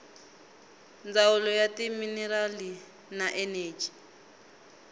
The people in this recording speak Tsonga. ndzawulo ya timinerali na eneji